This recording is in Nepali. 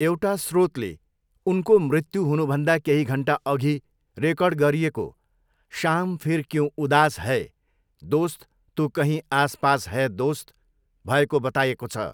एउटा स्रोतले उनको मृत्यु हुनुभन्दा केही घन्टा अघि रेकर्ड गरिएको 'शाम फिर क्यूँ उदास है दोस्त तू कहीँ आस पास है दोस्त' भएको बताएको छ।